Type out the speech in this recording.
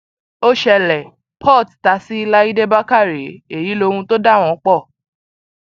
ó ṣẹlẹ port ta sí láìdé bàkàrẹ èyí lohun tó dà wọn pọ